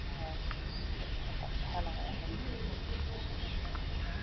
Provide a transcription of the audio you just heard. और ये बहुत अच्छा लग रहा है देखने में प्यारा लग रहा है जगह।